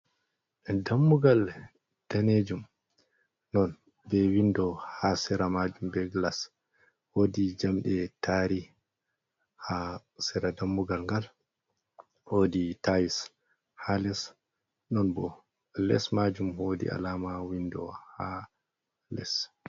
Dammugal danejum ɗon be window ha sera majum be glass wodi jamɗe taari ha sera. Dammugal ngal wodi tiles ha les. Non bo les majum wodi alama window ha les.